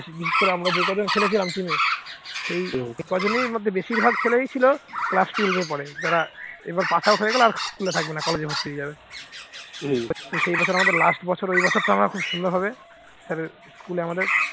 সেই কজনই মধ্যে বেশিরভাগ ছেলে ছিলই class twelve পড়ে যারা pass out হয়ে গেলে আর school থাকবে না। college ভর্তি হয়ে যাবে। সেই বছর আমাদের last বছর ওই বছরটা আমাদের খুব সুন্দর ভাবে মানে school আমাদের